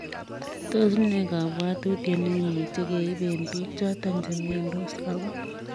Tos ne kakwautiet neimuchii keip eng piik chotok chemiandos ako